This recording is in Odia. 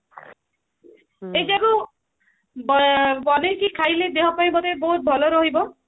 ଏଇଟା କୁ ବନେଇକି ଖାଇଲେ ଦେହ ପାଇଁ ବୋଧେ ବହୁତ ଭଲ ରହିବ